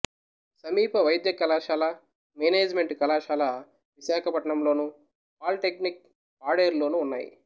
సమీప వైద్య కళాశాల మేనేజిమెంటు కళాశాల విశాఖపట్నంలోను పాలిటెక్నిక్ పాడేరులోనూ ఉన్నాయి